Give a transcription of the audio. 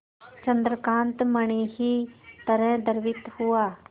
चंद्रकांत मणि ही तरह द्रवित हुआ